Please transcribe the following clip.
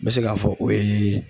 N bɛ se k'a fɔ o ye